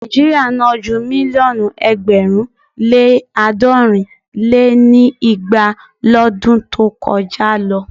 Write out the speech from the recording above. Nàíjíríà ná ju mílíọ̀nù ẹgbẹ̀rún lé àádọ́rin lé ní igba lọdún tó kọjá lọ.